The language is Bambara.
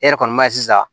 E yɛrɛ kɔni b'a ye sisan